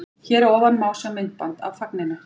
Hér að ofan má sjá myndband af fagninu.